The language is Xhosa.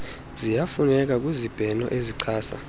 ziyafuneka kwizibheno ezichasa